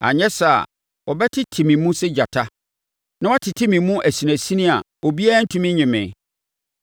anyɛ saa a wɔbɛtete me mu sɛ gyata na wɔatete me mu asinasini a obiara rentumi nnye me.